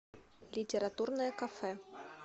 литературное кафе